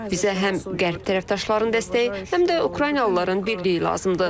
Bizə həm qərb tərəfdaşların dəstəyi, həm də Ukraynalıların birliyi lazımdır.